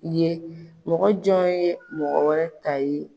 Ye mɔgɔ jɔn ye mɔgɔ wɛrɛ ta ye?